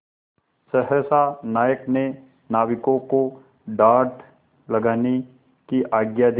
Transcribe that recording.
सहसा नायक ने नाविकों को डाँड लगाने की आज्ञा दी